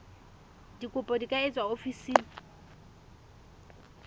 dikopo di ka etswa ofising